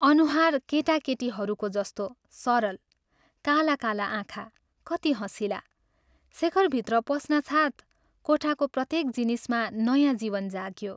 अनुहार केटाकेटीहरूको जस्तो सरल काला काला आँखा कति हँसिला शेखर भित्र पस्नासाथ कोठाको प्रत्येक जिनिसमा नयाँ जीवन जाग्यो।